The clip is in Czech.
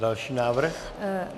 Další návrh.